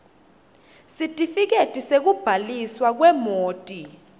sitifiketi sekubhaliswa kwemoti